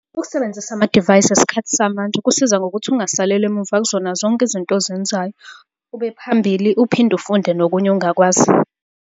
Ukusebenzisa amadivayisi esikhathi samanje kusiza ngokuthi ungasaleli emumva kuzona zonke izinto ozenzayo. Ube phambili, uphinde ufunde nokunye ongakwazi.